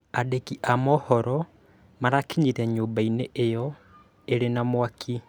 Andĩki a mohoro marakinyire nyũmba io ĩrĩ na mwaki